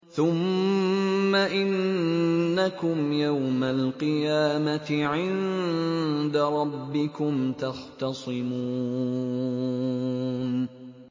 ثُمَّ إِنَّكُمْ يَوْمَ الْقِيَامَةِ عِندَ رَبِّكُمْ تَخْتَصِمُونَ